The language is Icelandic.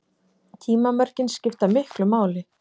Tímamörkin skipta miklu máli.